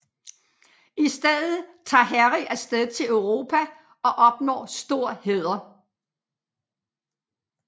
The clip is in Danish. I stedet tager Harry af sted til Europa og opnår stor hæder